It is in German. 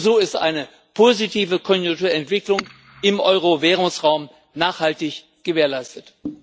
Nur so ist eine positive Konjunkturentwicklung im Euro Währungsraum nachhaltig gewährleistet.